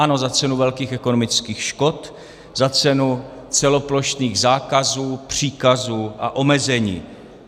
Ano, za cenu velkých ekonomických škod, za cenu celoplošných zákazů, příkazů a omezení.